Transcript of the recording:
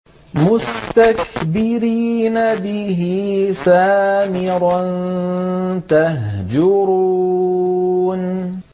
مُسْتَكْبِرِينَ بِهِ سَامِرًا تَهْجُرُونَ